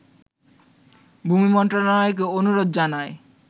ভূমি মন্ত্রণালয়কে অনুরোধ জানায়